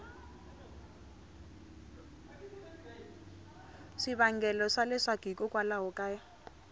swivangelo swa leswaku hikokwalaho ka